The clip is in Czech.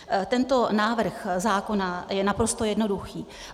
Tento návrh zákona je naprosto jednoduchý.